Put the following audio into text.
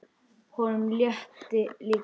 Honum létti líka.